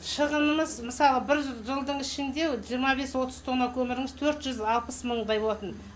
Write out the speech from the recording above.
шығынымыз мысалы бір жылдың ішінде жиырма бес отыз тонна көміріміз төрт жүз алпыс мыңдай болатын